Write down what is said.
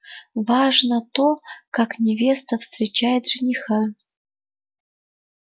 важно то как невеста встречает жениха